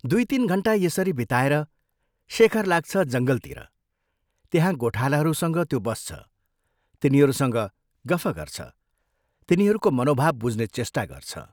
दुइ तीन घण्टा यसरी बिताएर शेखर लाग्छ जंगलतिर त्यहाँ गोठालाहरूसँग त्यो बस्छ, तिनीहरूसँग गफ गर्छ, तिनीहरूको मनोभाव बुझ्ने चेष्टा गर्छ।